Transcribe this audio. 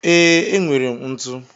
Ee, enwere m ntu.